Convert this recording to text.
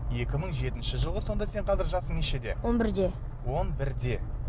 екі мың жетінші жылғы сонда сенің жасың нешеде он бірде он бірде